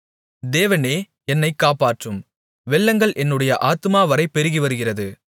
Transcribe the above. தேவனே என்னைக் காப்பாற்றும் வெள்ளங்கள் என்னுடைய ஆத்துமாவரை பெருகிவருகிறது